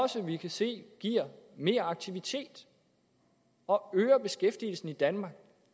som vi kan se giver mere aktivitet og øger beskæftigelsen i danmark